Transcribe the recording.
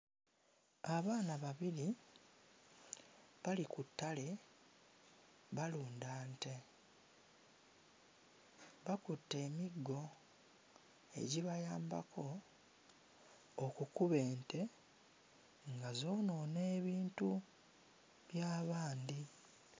Abaana babiri bali ku ttale balunda nte, bakutte emiggo egibayambako okukuba ente nga zoonoona ebintu bya bandi.